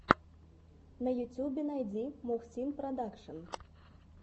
на ютубе найди мухсин продакшен